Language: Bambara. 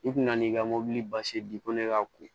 I kun n'i ka mɔbili basi di ko ne ka ko